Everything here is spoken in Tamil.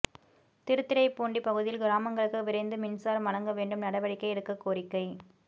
திருத்துறைப்பூண்டி பகுதியில் கிராமங்களுக்கு விரைந்து மின்சாரம் வழங்க வேண்டும் நடவடிக்கை எடுக்க கோரிக்கை